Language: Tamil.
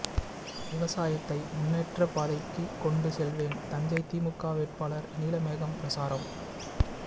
விவசாயத்தை முன்னேற்ற பாதைக்கு கொண்டு செல்வேன் தஞ்சை திமுக வேட்பாளர் நீலமேகம் பிரசாரம்